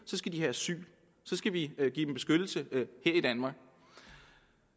så skal de have asyl så skal vi give dem beskyttelse her i danmark